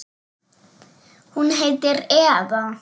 Hún heitir Eva.